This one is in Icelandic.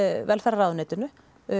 velferðarráðuneytinu